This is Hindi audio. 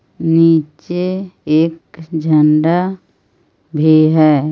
निचे एक झंडा भी है.